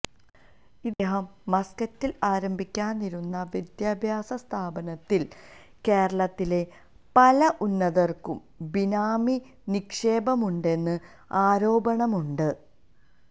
ഇദ്ദേഹം മസ്കറ്റില് ആരംഭിക്കാനിരുന്ന വിദ്യാഭ്യാസസ്ഥാപനത്തില് കേരളത്തിലെ പല ഉന്നതര്ക്കും ബിനാമി നിക്ഷേപമുണ്ടെന്നും ആരോപണമുണ്ട്